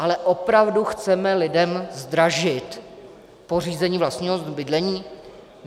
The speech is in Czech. Ale opravdu chceme lidem zdražit pořízení vlastního bydlení?